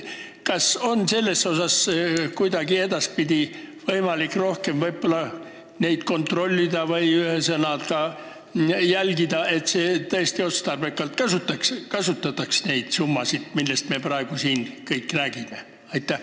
Kas on võimalik neid edaspidi kuidagi rohkem kontrollida, ühesõnaga jälgida, et tõesti kasutataks otstarbekalt neid summasid, millest me kõik siin praegu räägime?